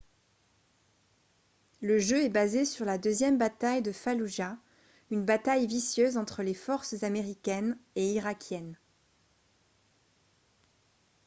le jeu est basé sur la deuxième bataille de falloujah une bataille vicieuse entre les forces américaines et irakiennes